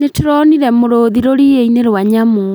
Nĩtũronire mũrũthi rũriĩ-inĩ rwa nyamũ